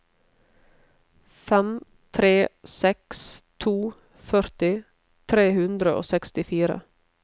fem tre seks to førti tre hundre og sekstifire